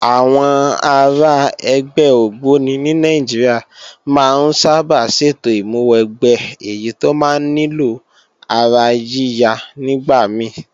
Àwọn ará ẹgbẹ́ ògbóni ní Nàìjíríà máa ń sábà ṣètò ìmúwẹgbẹ́ èyí tó máa ń nílò ara yíya nígbà mí